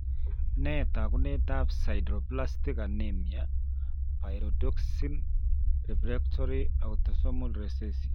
Nee taakunetaab sideroblastic anemia pyridoxine refractory autosomal recessive?